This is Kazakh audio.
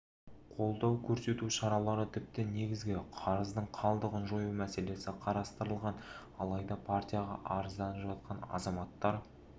қолдау көрсету шаралары тіпті негізгі қарыздың қалдығын жою мәселесі қарастырылған алайда партияға арызданып жатқан азаматтар